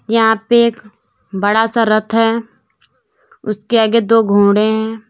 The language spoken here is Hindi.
यहां पर एक बड़ा सा रथ है उसके आगे दो घोड़े हैं।